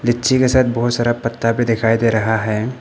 लीची का शायद बहोत सारा पता भी दिखाई दे रहा है।